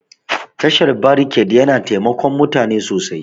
Tashar brekete na taimakon mutane sosai